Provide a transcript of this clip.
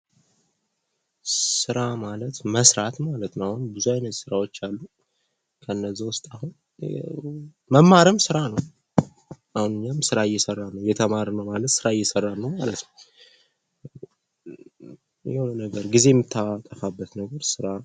ስራ ማለት መስራት ማለት ነው ብዙ አይነት ስራዎች አሉ ከነዚህ ውስጥ አሁን መማርም ስራ ነው። እየተማርን ነው ማለት ስራ እየሰራን ነው ማለት ነው። የሆነ ነገር ጊዜ የምታጠፋበት ነገር ስራ ነው።